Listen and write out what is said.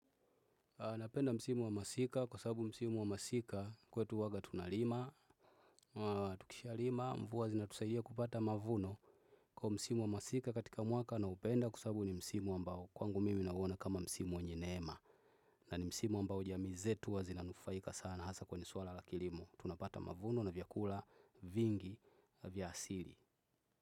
Napenda msimu wa masika kwa sababu msimu wa masika kwetu huwaga tunalima. Tukisha lima mvua zinatusaidia kupata mavuno kwa msimu wa masika katika mwaka nauopenda kwa sababu ni msimu wa ambao kwangu mimi nauona kama msimu wenye neema na ni msimu ambao jamii zetu huwa zinanufaika sana hasa kwenye swala la kilimo. Tunapata mavuno na vyakula vingi vya asili.